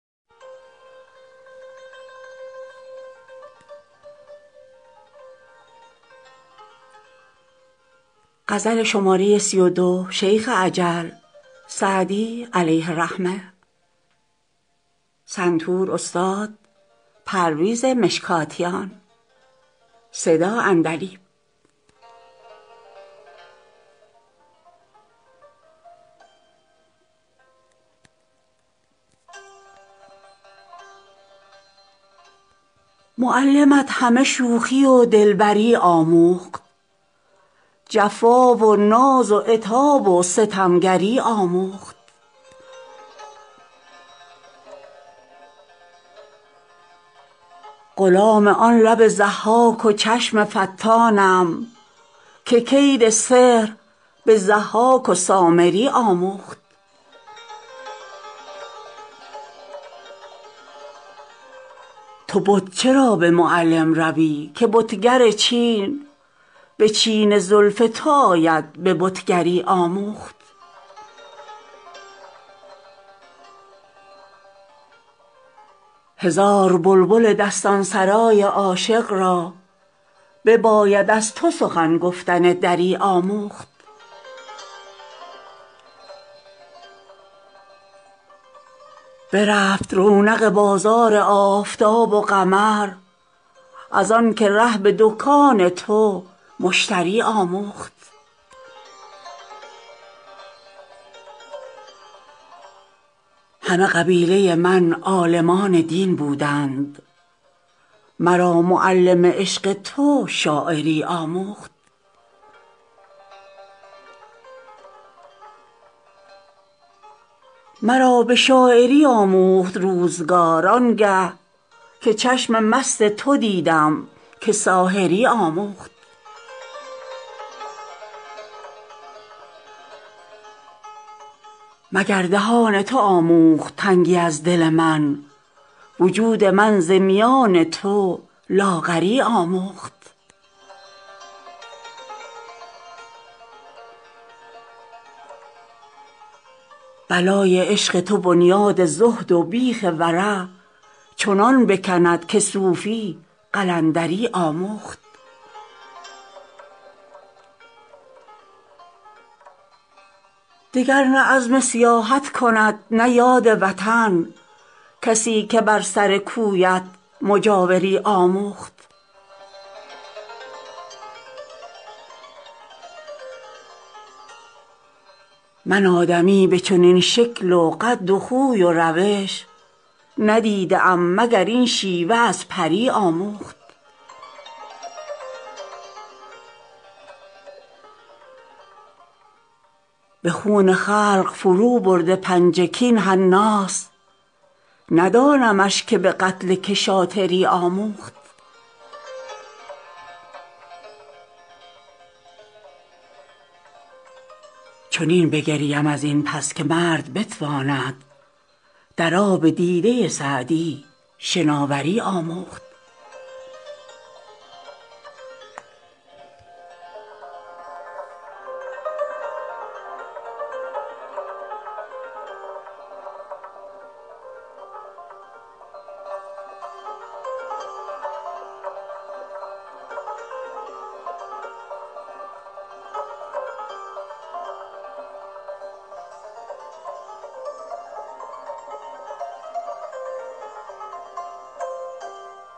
معلمت همه شوخی و دلبری آموخت جفا و ناز و عتاب و ستمگری آموخت غلام آن لب ضحاک و چشم فتانم که کید سحر به ضحاک و سامری آموخت تو بت چرا به معلم روی که بتگر چین به چین زلف تو آید به بتگری آموخت هزار بلبل دستان سرای عاشق را بباید از تو سخن گفتن دری آموخت برفت رونق بازار آفتاب و قمر از آن که ره به دکان تو مشتری آموخت همه قبیله من عالمان دین بودند مرا معلم عشق تو شاعری آموخت مرا به شاعری آموخت روزگار آن گه که چشم مست تو دیدم که ساحری آموخت مگر دهان تو آموخت تنگی از دل من وجود من ز میان تو لاغری آموخت بلای عشق تو بنیاد زهد و بیخ ورع چنان بکند که صوفی قلندری آموخت دگر نه عزم سیاحت کند نه یاد وطن کسی که بر سر کویت مجاوری آموخت من آدمی به چنین شکل و قد و خوی و روش ندیده ام مگر این شیوه از پری آموخت به خون خلق فروبرده پنجه کاین حناست ندانمش که به قتل که شاطری آموخت چنین بگریم از این پس که مرد بتواند در آب دیده سعدی شناوری آموخت